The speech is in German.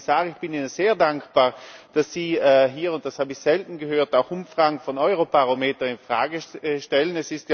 Herr Kommissar, ich bin Ihnen sehr dankbar, dass Sie hier und das habe ich selten gehört auch Umfragen von Eurobarometer in Frage stellen.